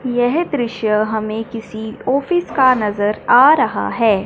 यह दृश्य हमें किसी ऑफिस का नजर आ रहा है।